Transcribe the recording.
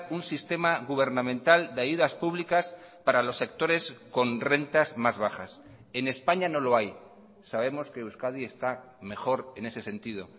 un sistema gubernamental de ayudas públicas para los sectores con rentas más bajas en españa no lo hay sabemos que euskadi está mejor en ese sentido